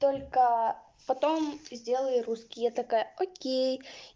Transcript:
только потом сделаю русский я такая окей